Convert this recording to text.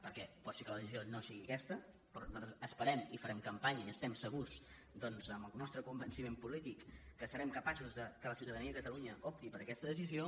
perquè pot ser que la decisió no sigui aquesta però nosaltres esperem i farem campanya i estem segurs doncs amb el nostre convenciment polític que serem capaços que la ciutadania de catalunya opti per aquesta decisió